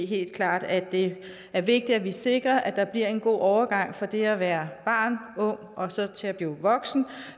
helt klart at det er vigtigt at sikre at der bliver en god overgang fra det at være barn og ung og så til at blive voksen